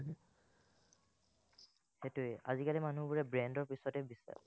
সেটোৱেই আজিকালি মানুহবোৰে brand ৰ পিচতে বিচাৰে